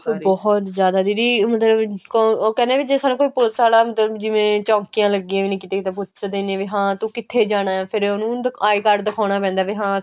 ਉਹ ਬਹੁਤ ਜ਼ਿਆਦਾ ਦੀਦੀ ਮਤਲਬ ਕੋਣ ਉਹ ਕਹਿੰਦੇ ਆਂ ਵੀ ਜੇ ਸਾਨੂੰ ਕੋਈ police ਆਲਾ ਅੰਦਰ ਜਿਵੇਂ ਚੋੰਕੀਆਂ ਲੱਗੀਆਂ ਵੀਆਂ ਕੀਤੇ ਤਾਂ ਪੁੱਛਦੇ ਨੇ ਵੀ ਹਾਂ ਤੂੰ ਕਿੱਥੇ ਜਾਣਾ ਉਹਨੂੰ I card ਦਿਖਾਣਾ ਪੈਂਦਾ ਵੀ ਹਾਂ